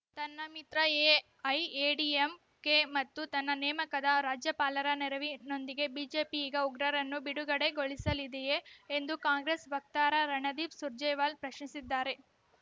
ತನ್ನ ಮಿತ್ರ ಎಐಎಡಿಎಂಕೆ ಮತ್ತು ತನ್ನ ನೇಮಕದ ರಾಜ್ಯಪಾಲರ ನೆರವಿನೊಂದಿಗೆ ಬಿಜೆಪಿ ಈಗ ಉಗ್ರರನ್ನು ಬಿಡುಗಡೆಗೊಳಿಸಲಿದೆಯೇ ಎಂದು ಕಾಂಗ್ರೆಸ್‌ ವಕ್ತಾರ ರಣದೀಪ್‌ ಸುರ್ಜೇವಾಲ ಪ್ರಶ್ನಿಸಿದ್ದಾರೆ